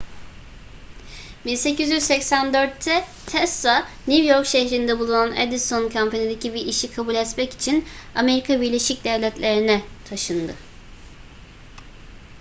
1884'te tesla new york şehrinde bulunan edison company'deki bir işi kabul etmek için amerika birleşik devletleri'ne taşındı